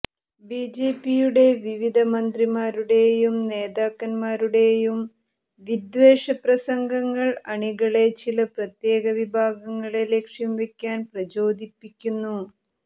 ബിജെപിയുടെ വിവിധ മന്ത്രിമാരുടെയും നേതാക്കന്മാരുടെയും വിദ്വേഷ പ്രസംഗങ്ങൾ അണികളെ ചില പ്രത്യേക വിഭാഗങ്ങളെ ലക്ഷ്യം വയ്ക്കാൻ പ്രചോദിപ്പിക്കുന്നു